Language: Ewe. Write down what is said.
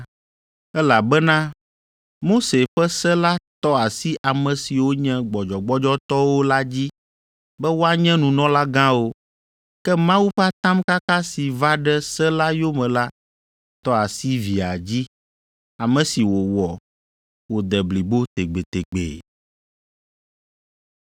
Elabena Mose ƒe Se la tɔ asi ame siwo nye gbɔdzɔgbɔdzɔtɔwo la dzi be woanye nunɔlagãwo, ke Mawu ƒe atamkaka si va ɖe se la yome la tɔ asi Via dzi, ame si wòwɔ wòde blibo tegbetegbe.